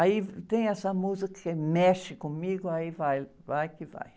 Aí, tem essa música que remexe comigo, aí vai, vai que vai.